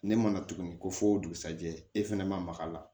Ne mana tuguni ko fɔ dugusɛjɛ e fɛnɛ mag'a la